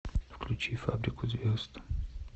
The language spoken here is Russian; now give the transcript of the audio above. включи фабрику звезд